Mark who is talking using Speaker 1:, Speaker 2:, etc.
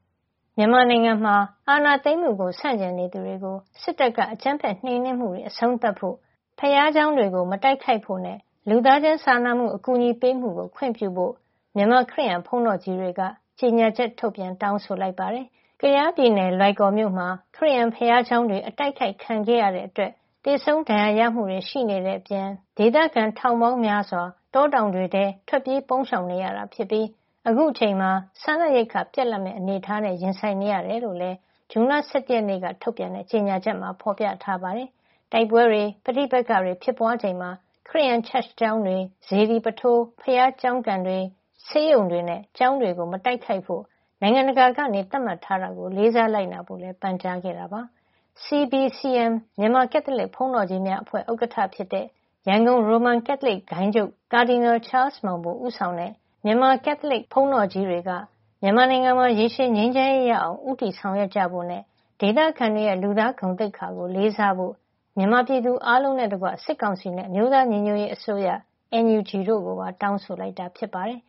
Speaker 1: မြန်မာနိုင်ငံမှာ အာဏာသိမ်းမှုကို ဆန့်ကျင်နေသူတွေကို စစ်တပ်က အကြမ်းဖက် နှိမ်နင်းမှုတွေ အဆုံးသတ်ဖို့၊ ဘုရားကျောင်းတွေကို မတိုက်ခိုက်ဖို့နဲ့ လူသားချင်းစာနာမှု အကူအညီပေးမှုကို ခွင့်ပြုဖို့ မြန်မာခရစ်ယာန် ဘုန်းတော်ကြီးတွေက ကြေညာချက် ထုတ်ပြန် တောင်းဆိုလိုက်ပါတယ်။ ကယားပြည်နယ် လွိုင်ကော်မြို့မှာ ခရစ်ယာန်ဘုရားကျောင်းတွေ အတိုက်ခိုက်ခံရတဲ့အတွက် သေဆုံးဒဏ်ရာရမှုတွေ ရှိနေတဲ့အပြင် ဒေသခံ ထောင်ပေါင်းများစွာ တောတောင်တွေထဲ ထွက်ပြေး ပုန်းရှောင်နေရတာဖြစ်ပြီး အခုအချိန်မှာ စားနပ်ရိက္ခာပြတ်လပ်မယ့် အနေအထားနဲ့ ရင်ဆိုင်နေရတယ်လို့လည်း ဇွန်လ ၁၁ ရက်နေ့က ထုတ်ပြန်တဲ့ ကြေညာချက်မှာ ဖော်ပြထားပါတယ်။ တိုက်ပွဲတွေ၊ ပဋိပက္ခတွေ ဖြစ်ပွားချိန်မှာ ခရစ်ယာန် Church ကျောင်းတွေ၊ စေတီပုထိုး ဘုရားကျောင်းကန်တွေ၊ ဆေးရုံတွေနဲ့ ကျောင်းတွေကို မတိုက်ခိုက်ဖို့ နိုင်ငံတကာက သတ်မှတ်ထားတာကို လေးစားလိုက်နာဖို့လည်း ပန်ကြားခဲ့ပါတယ်။ CBCM မြန်မာ ကက်သလစ်ဘုန်းတော်ကြီးများအဖွဲ့ ဥက္ကဋ္ဌဖြစ်တဲ့ ရန်ကုန် ရိုမန်ကက်သလစ်ဂိုဏ်းချုပ် Cardinal ချားလ်စ်မောင်ဘို ဦးဆောင်တဲ့ မြန်မာကက်သလစ် ဘုန်းတော်ကြီးတွေက မြန်မာနိုင်ငံမှာ ရေရှည်ငြိမ်းချမ်းရေး ရအောင် ဦးတည်ဆောင်ရွက်ကြဖို့နဲ့ ဒေသခံတွေရဲ့ လူသားဂုဏ်သိက္ခာကို လေးစားဖို့ မြန်မာပြည်သူအားလုံးနဲ့တကွ စစ်ကောင်စီနဲ့ အမျိုးသားညီညွတ်ရေးအစိုးရ (NUG) တို့ကိုပါ တောင်းဆိုလိုက်တာ ဖြစ်ပါတယ်